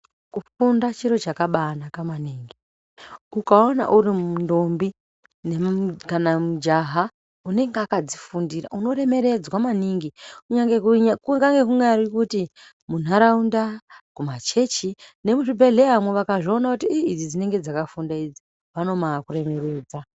Kufunda chiro chakabai naka maningi ukaona uri ndombi kana mujaha unenge akadzi fundira unoremeredzwa maningi kukange kunyari kuti mu nharaunda kuma chechi ne mu zvibhehleyamwo vakazvoona kutu ii idzi dzinenge dzaka funda idzi vanomai kuremeredza.